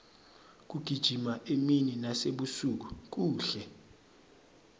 kugijima emini nasebusuku kuhle